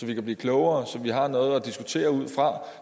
vi blive klogere og så har vi noget at diskutere ud fra